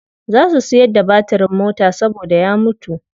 Za su siyar da batirin mota saboda ya mutu.